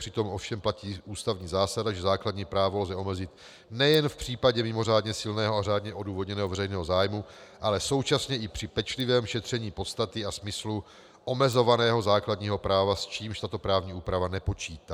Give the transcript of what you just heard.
Přitom ovšem platí ústavní zásada, že základní právo lze omezit nejen v případě mimořádně silného a řádně odůvodněného veřejného zájmu, ale současně i při pečlivém šetření podstaty a smyslu omezovaného základního práva, s čímž tato právní úprava nepočítá.